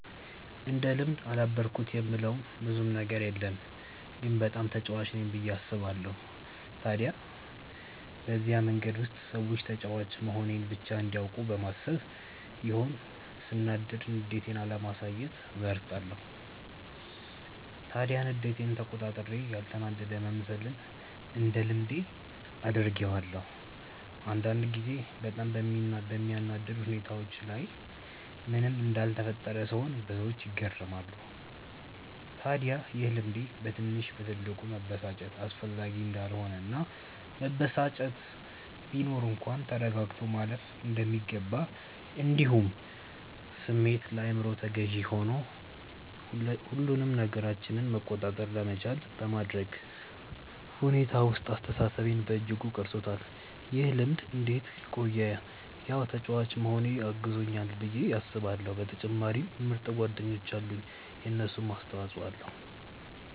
እንደ ልምድ አዳበርኩት የምለው ብዙም ነገር የለም ግን በጣም ተጫዋች ነኝ ብዬ አስባለው። ታዲያ በዚህ መንገድ ውስጥ ሰዎች ተጫዋች መሆኔን ብቻ እንዲያውቁ በማሰብ ይሆን ሰናዳድ ንዴቴን አለማሳየትን እመርጣለው። ታዲያ ንዴቴን ተቆጣጥሬ ያልተናደደ መምሰልን እንደ ልምድ አድርጌዋለው። አንዳንድ ጊዜ በጣም በሚያናድድ ሁኔታዎች ላይ ምንም እንዳልተፈጠረ ስሆን ብዙዎች ይገረማሉ። ታድያ ይሄ ልምዴ በትንሽ በትልቁ መበሳጨት አስፈላጊ እንዳልሆነ እና መበሳጨት ቢኖር እንኳን ተረጋግቶ ማለፍ እንደሚገባ እንዲሁም ስሜት ለአይምሮ ተገዢ ሆኑ ሁሉንም ነገራችንን መቆጣጠር ለመቻል በማድረግ ሁኔታ ውስጥ አስተሳሰቤን በእጅጉ ቀርፆታል። ይህ ልምድ እንዴት ቆየ ያው ተጫዋች መሆኔ አግዞኛል ብዬ አስባለው በተጨማሪም ምርጥ ጓደኞች አሉኝ የነሱም አስተፆይ ኣለዉ።